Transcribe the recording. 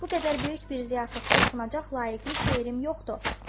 Bu qədər böyük bir ziyafətdə oxunacaq layiqli şeirim yoxdur.